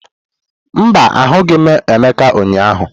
Mba, ahụghị m Emeka ụnyahụ.